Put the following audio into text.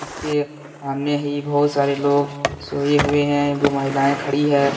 इसके सामने ही बहुत सारे लोग सोए हुए है महिलाएं खड़ी हैं।